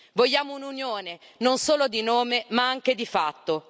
Vogliamo un'Unione, non solo di nome, ma anche di fatto.